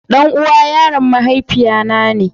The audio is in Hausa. Ɗan'uwa yaron mahaifiya na ne.